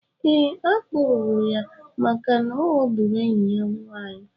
Eé, akpụrụrụ ya màkà na oghọgbụrụ enyi ya nwaanyị